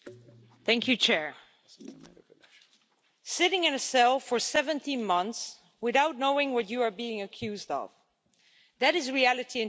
Mr President, sitting in a cell for 17 months without knowing what you are being accused of that is reality in today's Turkey.